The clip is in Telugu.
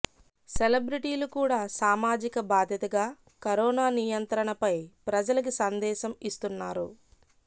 సెలబ్రిటీలు కూడా సామాజిక బాద్యతగా కరోనా నియంత్రణపై ప్రజలకి సందేశం ఇస్తున్నారు